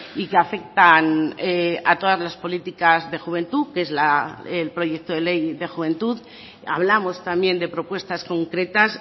y que afectan a todas las políticas de juventud que es el proyecto de ley de juventud hablamos también de propuestas concretas